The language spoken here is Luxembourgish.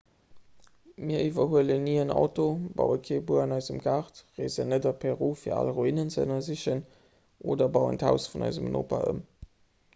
mir iwwerhuelen ni en auto baue kee buer an eisem gaart reesen net a peru fir al ruinen ze ënnersichen oder bauen d'haus vun eisem noper ëm